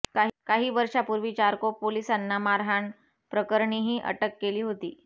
काही वर्षापूर्वी चारकोप पोलिसांना मारहाण प्रकरणीही अटक केली होती